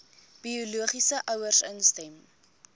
biologiese ouers instem